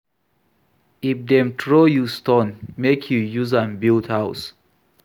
If dem throw you stone, make you use am build house.